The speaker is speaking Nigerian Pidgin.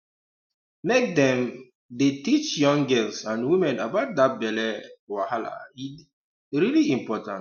make dem um dey teach young girls and women about that belly um wahala e um really important